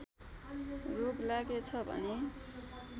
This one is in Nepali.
रोग लागेछ भने